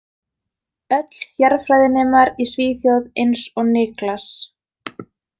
Öll jarðfræðinemar í Svíþjóð eins og Niklas.